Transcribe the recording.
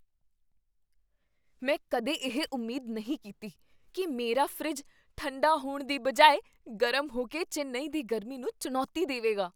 ਮੈਂ ਕਦੇ ਇਹ ਉਮੀਦ ਨਹੀਂ ਕੀਤੀ ਕੀ ਮੇਰਾ ਫਰਿੱਜ ਠੰਢਾ ਹੋਣ ਦੀ ਬਜਾਏ ਗਰਮ ਹੋ ਕੇ ਚੇਨੱਈ ਦੀ ਗਰਮੀ ਨੂੰ ਚੁਣੌਤੀ ਦੇਵੇਗਾ!